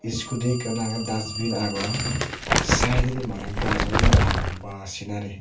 scooty ekkan aage dustbin agon side didi mane gajo ye agon ba sinari